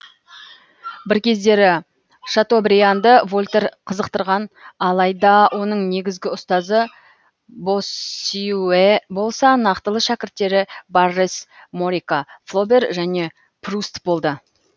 бір кездері шатобрианды вольтер қызықтырған алайда оның негізгі ұстазы боссюэ болса нақтылы шәкірттері баррес морика флобер және пруст болды